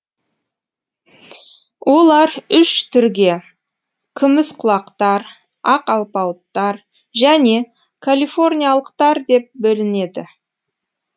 олар үш түрге күміс құлақтар ақ алпауыттар және калифорниялықтар деп бөлінеді